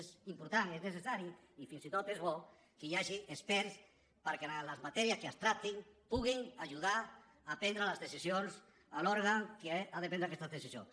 és important és necessari i fins i tot és bo que hi hagi experts perquè en les matèries que es tractin puguin ajudar a prendre les decisions a l’òrgan que ha de prendre aquestes decisions